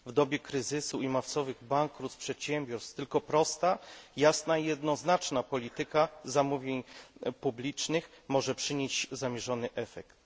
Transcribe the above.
W dobie kryzysu i masowych bankructw przedsiębiorstw tylko prosta, jasna i jednoznaczna polityka zamówień publicznych może przynieść zamierzony efekt.